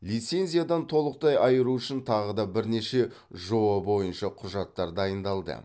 лицензиядан толықтай айыру үшін тағы да бірнеше жоо бойынша құжаттар дайындалды